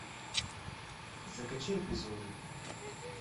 закачай эпизоды